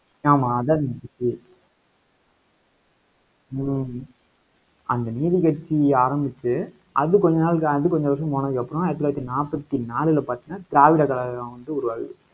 ஆமா அதான் இப்படியிருக்கு ஹம் அந்த நீதிக்கட்சி ஆரம்பிச்சு, அது கொஞ்ச நாள் தாண்டி, கொஞ்ச வருஷம் போனதுக்கப்புறம், ஆயிரத்தி தொள்ளாயிரத்தி நாற்பத்தி நாலுல பார்த்தீங்கன்னா திராவிட கழகம் வந்து உருவாகுது.